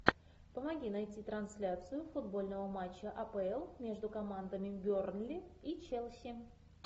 помоги найти трансляцию футбольного матча апл между командами бернли и челси